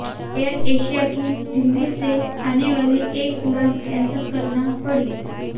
air Asia की दिल्ली से आने वाली एक उड़ान कैंसल करना पड़ी